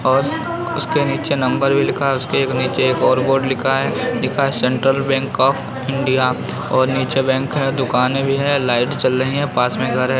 और उसके नीचे नंबर भी लिखा है और उसके नीचे एक और बोर्ड लिखा है लिखा है सेन्ट्रल बैंक ऑफ़ इंडिया और नीचे बैंक है दुकाने भी हैं लाइट जल रही है पास में एक घर हैं।